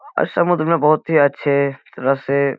यह एक बहुत बड़ा समुद्र है।